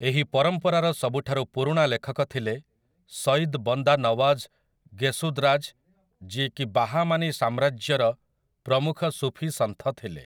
ଏହି ପରମ୍ପରାର ସବୁଠାରୁ ପୁରୁଣା ଲେଖକ ଥିଲେ ସୟିଦ୍ ବନ୍ଦା ନୱାଜ୍ ଗେସୁଦ୍ରାଜ୍ ଯିଏକି ବାହାମାନୀ ସାମ୍ରାଜ୍ୟର ପ୍ରମୁଖ ସୁଫୀ ସନ୍ଥ ଥିଲେ ।